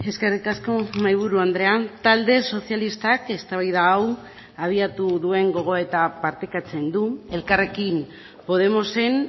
eskerrik asko mahaiburu andrea talde sozialistak eztabaida hau abiatu duen gogoeta partekatzen du elkarrekin podemosen